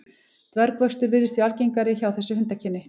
Dvergvöxtur virðist því algengur hjá þessu hundakyni.